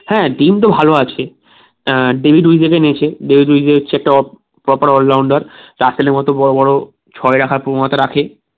হ্যাঁ team তো ভালো আছে আহ day দুইদিনের match হচ্ছে top proper all rounder চ্যাপেলের মতো বড়োবড়ো ছয় রাখার প্রবণতা রাখে